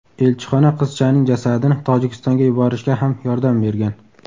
Elchixona qizchaning jasadini Tojikistonga yuborishga ham yordam bergan.